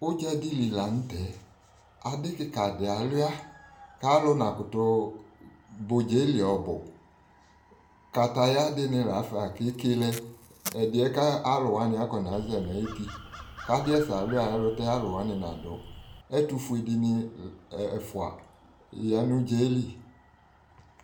Udzadɩ li la n'tɛ Adɩ kɩka dɩ alua k'alʋ nakʋtʋ ba udza yɛ li ɔbʋ Kataya dɩnɩ lafa k'eke lɛ, ɛdɩyɛ ka alʋwanɩ akɔnaza n'ayuti, k'adɩ yɛ da Lua ayɛlʋtɛ alʋwanɩ nadʋ Ɛtʋfue dɩnɩ ɛfua ya n'udza yɛ li